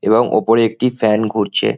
এবং ওপরে একটি ফ্যান ঘুরছে।